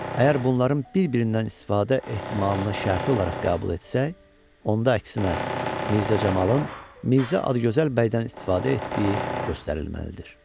Əgər bunların bir-birindən istifadə ehtimalına şərti olaraq qəbul etsək, onda əksinə, Mirzə Camalın Mirzə Adıgözəl bəydən istifadə etdiyi göstərilməlidir.